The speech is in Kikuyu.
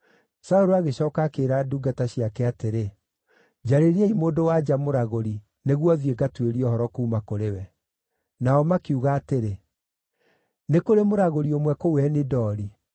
Saũlũ agĩcooka akĩĩra ndungata ciake atĩrĩ, “Njarĩriai mũndũ-wa-nja mũragũri, nĩguo thiĩ ngatuĩrie ũhoro kuuma kũrĩ we.” Nao makiuga atĩrĩ, “Nĩ kũrĩ mũragũri ũmwe kũu Eni-Dori.”